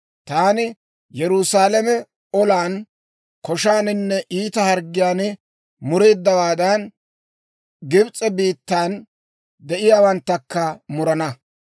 Taani Yerusaalame olan, koshaaninne iita harggiyaan mureeddawaadan, Gibs'e biittan de'iyaawanttakka murana.